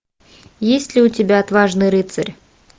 есть ли у тебя отважный рыцарь